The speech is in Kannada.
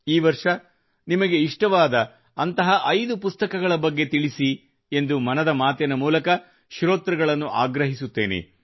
ಈ ವರ್ಷ ನಿಮಗೆ ಇಷ್ಟವಾದ ಅಂಥ 5 ಪುಸ್ತಕಗಳ ಬಗ್ಗೆ ತಿಳಿಸಿ ಎಂದು ಮನದ ಮಾತಿನ ಮೂಲಕ ಶ್ರೋತೃಗಳನ್ನು ಆಗ್ರಹಿಸುತ್ತೇನೆ